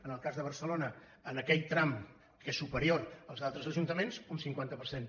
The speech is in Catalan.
en el cas de barcelona en aquell tram que és superior als altres ajuntaments un cinquanta per cent